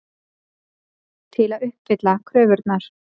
Til að uppfylla kröfurnar.